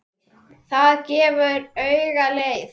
Það gefur auga leið